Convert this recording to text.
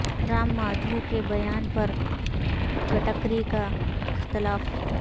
را م مادھو کے بیان پر گڈکری کا اختلاف